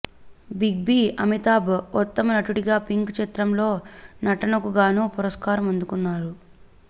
Big B Amitabh ఉత్తమనటుడిగా పింక్ చిత్రంలో నటకుగానూ పురస్కారం అందుకున్నారు